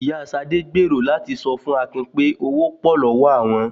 Ìyá Ṣadé gbèrò láti sọ fún Akin pé owó pò lọ́wọ́ àwọn